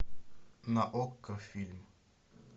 на окко фильм